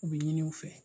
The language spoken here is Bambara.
U bɛ ɲini u fɛ